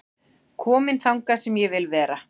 Kominn þangað sem ég vil vera